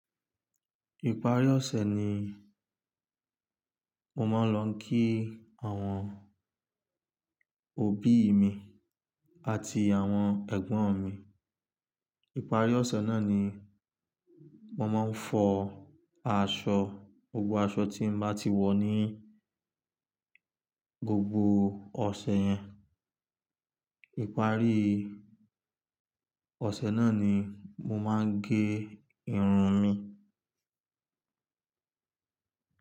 Ìparí ọ̀sẹ̀ ni mo máa ń lọ kí àwọn òbí mi àti àwọn ẹ̀gbọ́n Ni Ìparí ọ̀sẹ̀ náà ni mo máa ń fọ aṣọ, gbogbo aṣọ tí mo bá ti wọ̀ ní gbogbo ọ̀sẹ̀ yẹn. Ìparí ọ̀sẹ̀ náà ni mo máa ń gé irun mi.